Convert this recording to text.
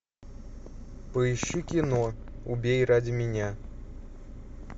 поищи кино убей ради меня